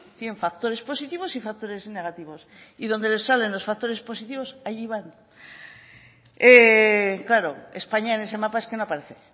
tienen factores positivos y factores negativos y donde les salen los factores positivos allí van claro españa en ese mapa es que no aparece